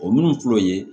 O minnu filɛ o ye